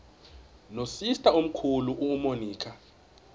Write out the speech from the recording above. nosister omkhulu umonica